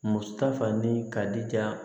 Muso ta fani ka di ja ye